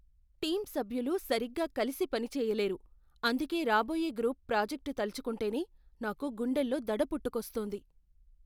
Team సభ్యులు సరిగ్గా కలిసి పని చెయ్యలేరు, అందుకే రాబోయే గ్రూప్ ప్రాజెక్ట్ తలుచుకుంటేనే నాకు గుండెల్లో దడ పుట్టుకొస్తుంది.